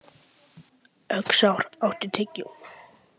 Öxar, áttu tyggjó?